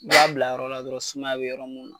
I b'a bila yɔrɔ la dɔrɔn sumaya be yɔrɔ mun na.